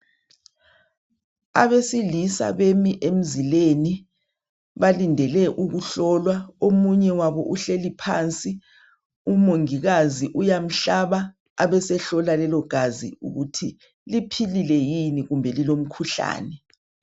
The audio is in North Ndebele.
Abesilisa bemi emzileni balindele ukuhlolwa , omunye wabo uhleli phansi , umongikazi uyamhlaba abe sehlola lelo gazi ukuthi liphilile yini kumbe lilomkhuhlane